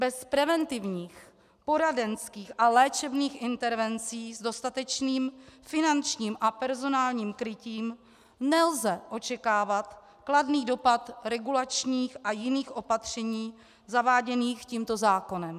Bez preventivních, poradenských a léčebných intervencí s dostatečným finančním a personálním krytím nelze očekávat kladný dopad regulačních a jiných opatření zaváděných tímto zákonem.